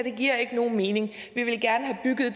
ikke giver nogen mening